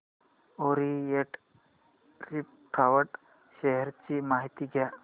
Orient refract share ची माहिती द्या